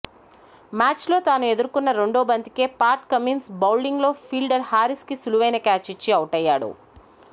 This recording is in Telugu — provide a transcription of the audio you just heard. మ్యాచ్లో తాను ఎదుర్కొన్న రెండో బంతికే పాట్ కమిన్స్ బౌలింగ్లో ఫీల్డర్ హారిస్కి సులువైన క్యాచ్ ఇచ్చి ఔటయ్యాడు